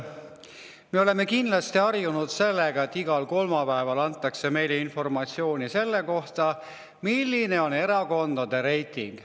Me oleme kindlasti harjunud sellega, et igal kolmapäeval antakse meile informatsiooni selle kohta, milline on erakondade reiting.